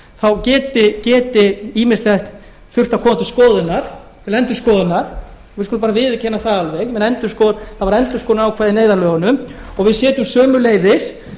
þá geti ýmislegt þurft að koma til endurskoðunar við skulum bara viðurkenna það alveg það voru endurskoðunarákvæði í neyðarlögunum og við setjum sömuleiðis